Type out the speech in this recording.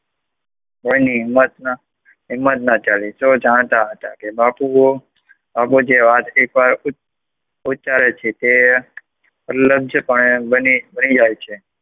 કોઈ ની હિમ્મત ના ચાલી, સૌ જાણતા હતા, કે બાપુ એવા છે, જે ઉચ્ચારે છે તે ઉલ્લન છે પણ તે બની જ જાય છે